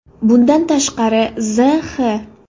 Bundan tashqari, Z.X.